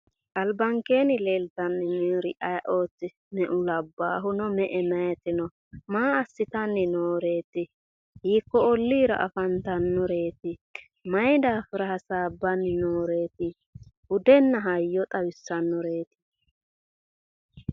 Albankeenni leeltanni noori ayeeooti? Meu labbaahu no meu meyaati no ? Maa assitanni nooreeti? Hiikko olliira afantannoreeti? Mayi daafira hasaabbanni nooreeti? Budenna hayyo xawissannoreeti.